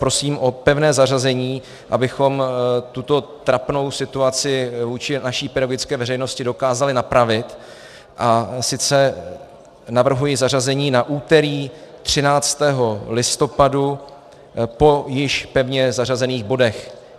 Prosím o pevné zařazení, abychom tuto trapnou situaci vůči naší pedagogické veřejnosti dokázali napravit, a sice navrhuji zařazení na úterý 13. listopadu po již pevně zařazených bodech.